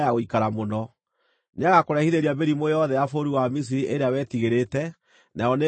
Nĩagakũrehithĩria mĩrimũ yothe ya bũrũri wa Misiri ĩrĩa wetigĩrĩte, nayo nĩĩgakwĩgwatĩrĩra.